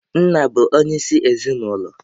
Nna bụ onye isi ezinụlọ.